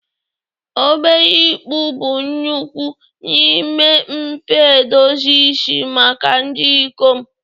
obere ịkpụ bụ ukwuu n'ime mfe edozi isi maka ndị ikom